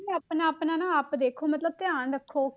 ਆਪਣਾ ਆਪਣਾ ਨਾ ਆਪ ਦੇਖੋ ਮਤਲਬ ਧਿਆਨ ਰੱਖੋ